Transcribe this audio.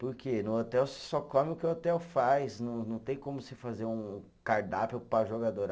Porque no hotel você só come o que o hotel faz, não não tem como você fazer um cardápio para o jogador.